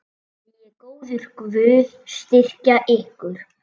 Megi góður Guð styrkja ykkur.